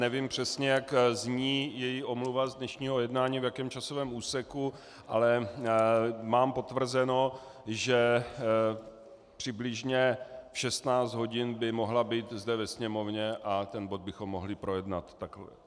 Nevím přesně, jak zní její omluva z dnešního jednání, v jakém časovém úseku, ale mám potvrzeno, že přibližně v 16 hodin by mohla být zde ve Sněmovně a ten bod bychom mohli projednat.